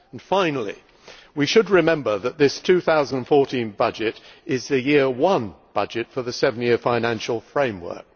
Finally, we should remember that this 2014 budget is the year one budget for the seven year financial framework.